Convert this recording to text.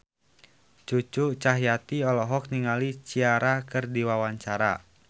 Cucu Cahyati olohok ningali Ciara keur diwawancara